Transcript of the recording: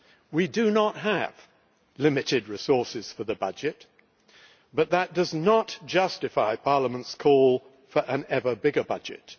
We do not have limited resources for the budget, but that does not justify Parliament's call for an ever bigger budget.